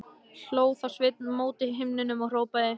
Hló þá Sveinn mót himninum og hrópaði: